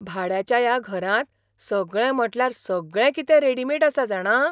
भाड्याच्या ह्या घरांत सगळें म्हटल्यार सगळें कितें रेडिमेड आसा जाणा!